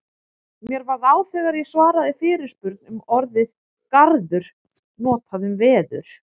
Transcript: Mér varð á þegar ég svaraði fyrirspurn um orðið garður notað um veður.